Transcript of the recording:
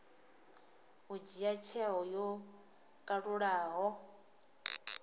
u dzhia tsheo yo kalulaho